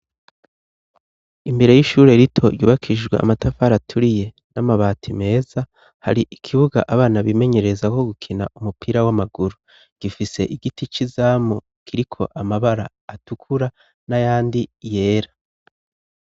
Imbere y'ishure rito ryubakijwe amatafara aturiye, n'amabati meza ,har' ikibuga abana bimenyerezako gukina umupira w'amaguru ,gifise igiti c'izamu kiriko amabara atukura n'ayandi yera.